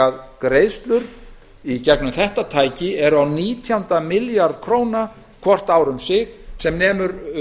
ár greiðslur í gegnum þetta tæki eru á nítjánda milljarð króna hvort ár um sig sem nemur